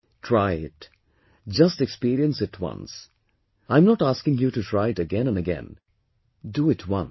Try it, just experience it once, I am not asking you to try it again and again, do it once